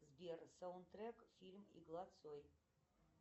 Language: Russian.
сбер саундтрек фильм игла цой